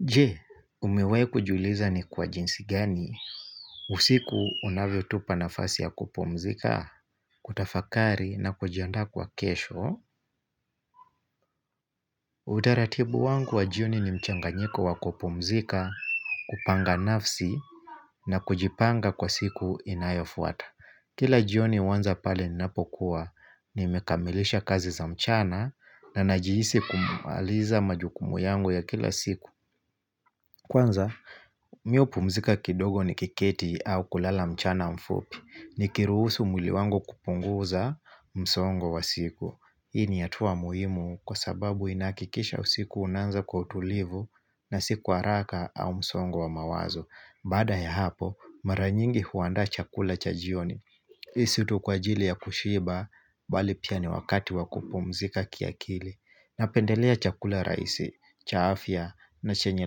Je, umewahi kujiuliza ni kwa jinsi gani? Usiku unavyo tupanafasi ya kupumzika, kutafakari na kujiandaa kwa kesho Utaratibu wangu wa jioni ni mchanga nyiko wa kupumzika, kupanga nafsi na kujipanga kwa siku inayofuata Kila jioni huanza pale ninapokuwa nimekamilisha kazi za mchana na najihisi kumaliza majukumu yangu ya kila siku Kwanza, mi hupumzika kidogo nikiketi au kulala mchana mfupi, ni kiruhusu mwili wangu kupunguza msongo wa siku. Hii ni hatua muhimu kwa sababu inahakikisha usiku unaanza kwa utulivu na si kwa haraka au msongo wa mawazo. Baada ya hapo, maranyingi huandaa chakula cha jioni. Hii situ kwa ajili ya kushiba, bali pia ni wakati wakupumzika kiakili. Napendelea chakula rahisi, cha afya na chenye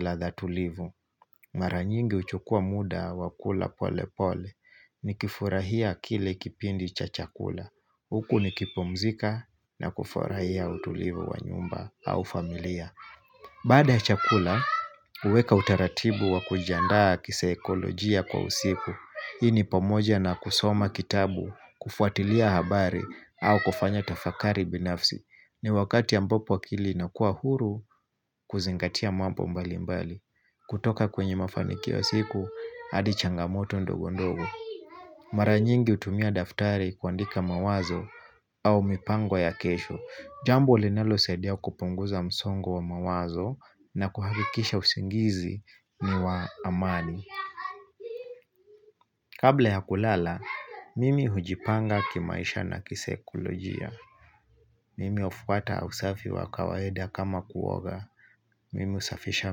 ladha tulivu. Maranyingi huchukua muda wakula pole pole. Nikifurahia kile kipindi cha chakula. Huku nikipumzika na kufurahia utulivu wa nyumba au familia. Baada chakula, huweka utaratibu wa kujiandaa kisaekolojia kwa usiku. Hii ni pamoja na kusoma kitabu, kufuatilia habari au kufanya tafakari binafsi. Ni wakati ambapo akili inakuwa huru, kuzingatia mambo mbali mbali. Kutoka kwenye mafanikio ya siku, hadi changamoto ndogondogo. Maranyingi hutumia daftari kuandika mawazo au mipango ya kesho. Jambo linalo saidia kupunguza msongo wa mawazo na kuhakikisha usingizi ni wa amani. Kabla ya kulala, mimi hujipanga kimaisha na kisaikolojia. Mimi hufuata usafi wa kawaida kama kuoga. Mimi husafisha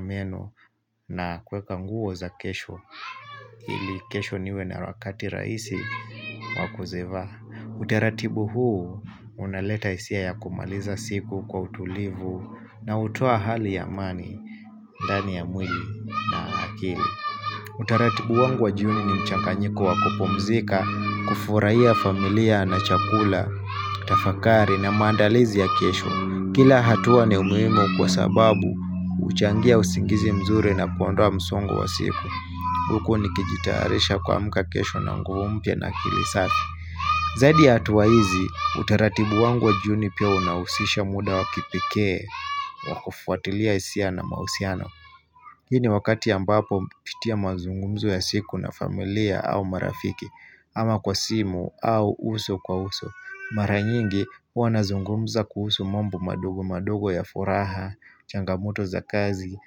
meno na kuweka nguo za kesho. Ili kesho niwe na wakati rahisi wakuzivaa. Utaratibu huu unaleta hisia ya kumaliza siku kwa utulivu na hutoa hali ya amani, ndani ya mwili na akili Utaratibu wangu wajioni ni mchanganyiko wa kupumzika, kufurahia familia na chakula, tafakari na maandalizi ya kesho Kila hatuwa ni ya umuhimu kwa sababu huchangia usingizi mzuri na kuondowa msongo wa siku Huku nikijitayarisha kuamka kesho na nguo mpya na akilisafi Zaidi ya hatua hizi, utaratibu wangu wa jioni pia unahusisha muda wakipekee, wakufuatilia hisia na mahusiano. Hii ni wakati ambapo hupitia mazungumzo ya siku na familia au marafiki, ama kwa simu au uso kwa uso. Mara nyingi wanazungumza kuhusu mambo madogo madogo ya furaha, changamoto za kazi,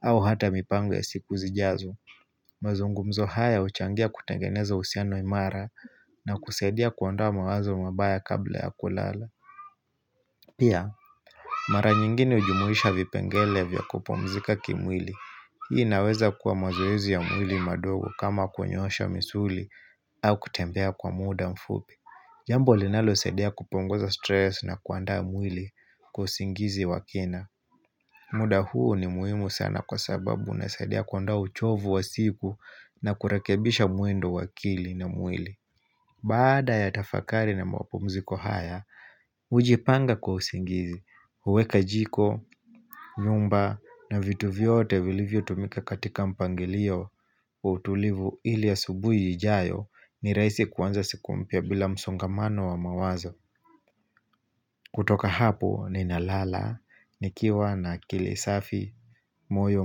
au hata mipango ya siku zijazo. Mazungumzo haya huchangia kutengeneza uhusiano imara na kusaidia kuondoa mawazo mabaya kabla ya kulala. Pia, mara nyingine hujumuisha vipengele vya kupumzika kimwili. Hii inaweza kuwa mazoezi ya mwili madogo kama kunyoosha misuli au kutembea kwa muda mfupi. Jambo linalosaidia kupunguza stress na kuandaa mwili kwa usingizi wakina. Muda huu ni muhimu sana kwa sababu unasaidia kuondoa uchovu wa siku na kurekebisha mwendo wa akili na mwili Baada ya tafakari na mapumziko haya, hujipanga kwa usingizi huweka jiko, nyumba na vitu vyote vilivyo tumika katika mpangilio utulivu ili saubuhi ijijayo ni rahisi kuanza siku mpya bila msongamano wa mawazo kutoka hapo ninalala, nikiwa na akili safi, moyo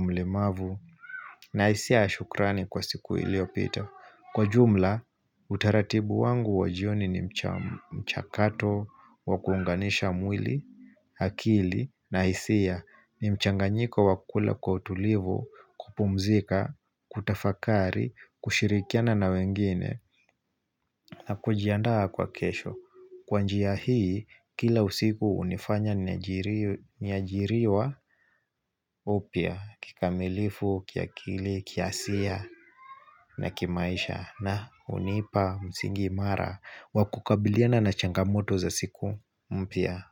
mlemavu, na hisia yas hukrani kwa siku iliopita. Kwa jumla, utaratibu wangu wajioni ni mchakato, wakuunganisha mwili, akili, na hisia ni mchanganyiko wa kula kwa utulivu, kupumzika, kutafakari, kushirikiana na wengine, na kujiandaa kwa kesho. Kwa njia hii, kila usiku hunifanya niajiriwa upya kikamilifu, kiakili, kiasia na kimaisha na hunipa msingi imara wakukabiliana na changamoto za siku mpya.